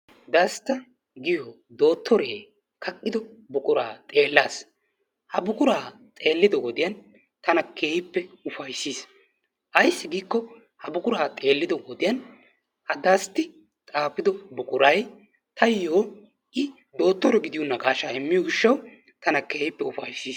Dasta giyo dotoree kaqqido buquraa xeelaas, ha buquraa xeellido wode tana keehippe ufayssiis. Ayssi giikko ha buquraa xeellido wodiyan ha Dasti xaafido buqquray taayo i dotore giyo naqaasha immiyo giishaawu tana keehippe ufayssiis.